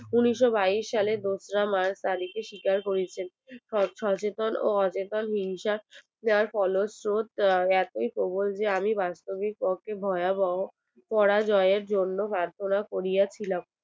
উনিশশো বাইশ সালে দোসরা march তারিখে স্বীকার করিয়েছেন সচেতন ও অচেতন হিংসা যার ফল স্বরূপ এতই প্রবল যে আমি বাস্তবিক অতি ভয়াবহ পরাজয়ের জন্য প্রার্থনা করিয়াছিলাম